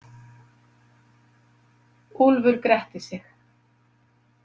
Úlfur gretti sig.